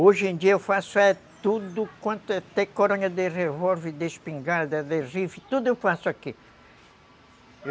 Hoje em dia eu faço é tudo quanto é... Até coronha de revólver, de espingarda, de riflé, tudo eu faço aqui.